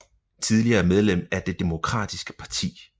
Tidligere medlem af Det Demokratiske Parti